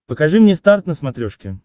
покажи мне старт на смотрешке